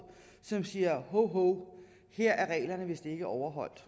som siger hov hov her er reglerne vist ikke overholdt